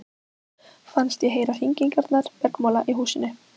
Fannst ég heyra hringingarnar bergmála í húsinu.